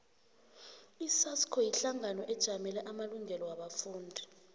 isasco yihlangano ejamele amalungelo wabafundi